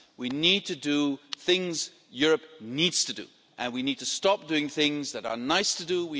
We need to do things Europe needs to do, and we need to stop doing things that are nice to do.